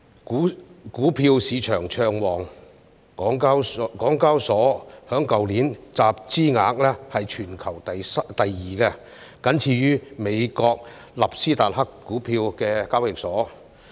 股票市場暢旺，香港交易所去年的集資額全球排行第二，僅次於美國納斯達克股票交易所。